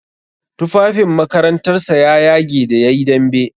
Tufafin makarantar sa ya yage da yayi dambe.